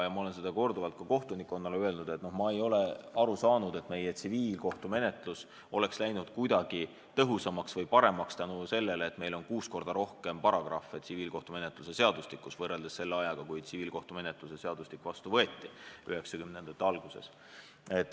Ma olen korduvalt ka kohtunikkonnale öelnud, et ma ei ole aru saanud, et meie tsiviilkohtumenetlus oleks läinud tõhusamaks või paremaks tänu sellele, et meil on kuus korda rohkem paragrahve tsiviilkohtumenetluse seadustikus võrreldes selle ajaga, kui tsiviilkohtumenetluse seadustik vastu võeti, 1990-ndate algusega.